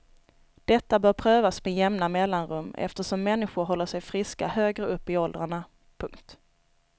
Detta bör prövas med jämna mellanrum eftersom människor håller sig friska högre upp i åldrarna. punkt